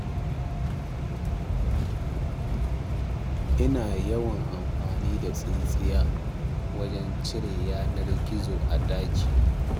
Ina yawan amfani da tsintsiya wajen cire yanar gizo a ɗakina.